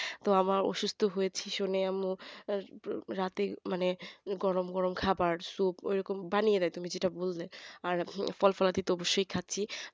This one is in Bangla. তো আপা অসুস্থ হয়েছি বলে আম্মু রাতে মানে গরম গরম খাবার স্যুপ এরকম বানিয়ে দেয়। তুমি যেটা বললে এখন তো ফল যা অবশ্যই খাচ্ছি।